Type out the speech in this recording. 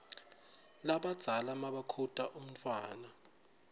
lalabadzala nmabakhuta umntfwana